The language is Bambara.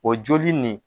O joli nin